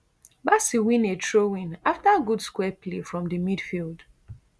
bassey win a throwin afta good square play from di midfield